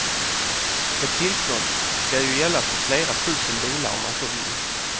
Ett tillstånd ska ju gälla för flera tusen bilar om man så vill.